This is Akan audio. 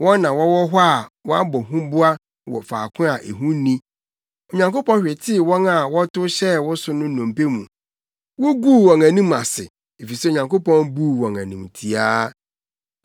Wɔn na wɔwɔ hɔ a wɔabɔ huboa wɔ faako a ehu nni. Onyankopɔn hwetee wɔn a wɔtow hyɛɛ wo so no nnompe mu; wuguu wɔn anim ase, efisɛ Onyankopɔn buu wɔn animtiaa.